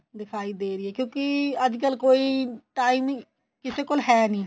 ਦਿਖਾਈ ਦੇ ਰਹੀ ਏ ਕਿਉਂਕਿ ਅੱਜਕਲ ਕੋਈ time ਈ ਕਿਸੇ ਕੋਲ ਹੈ ਨੀਂ